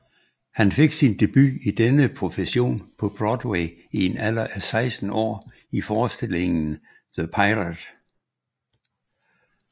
Han fik sin debut i denne profession på Broadway i en alder af 16 år i forestillingen The Pirate